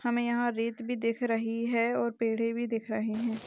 हमे यहाँ रेत भी दिख रही है और पेड़ॆ भी दिख रहे हैं।